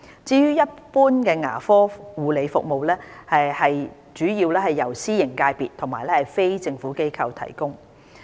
至於一般牙科護理服務，則主要由私營界別和非政府機構提供。